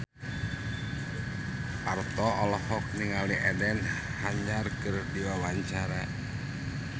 Parto olohok ningali Eden Hazard keur diwawancara